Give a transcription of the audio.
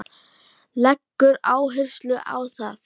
Leggur áherslu á það.